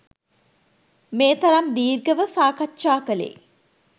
මේ තරම් දීර්ඝව සාකච්ඡා කළේ